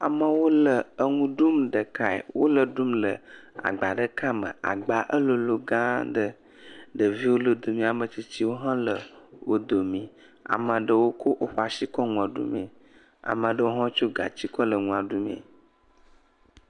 Amewo le enu ɖum ɖekae, wole ɖum le agba ɖeka me, agba elolo gã aɖe, ɖeviwo le wo dome, ametsitsiwo hã le wo dome, ame aɖewo tsɔ woƒe asi kɔ nua ɖumee, ame aɖewo hã kɔ gatsi kɔ nua ɖumee.